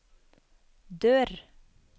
dør